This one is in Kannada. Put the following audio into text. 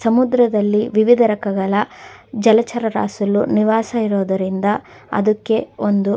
ಸಮುದ್ರದಲ್ಲಿ ವಿವಿಧ ರಕಗಳ ಜಲಚರ ನಿವಾಸ ಇರೋದರಿಂದ ಅದಕ್ಕೆ ಒಂದು--